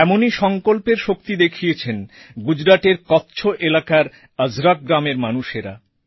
এমনই সংকল্পের শক্তি দেখিয়েছেন গুজরাটের কচ্ছ এলাকার অজরক গ্রামের মানুষেরা